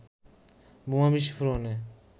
বোমা বিস্ফোরণে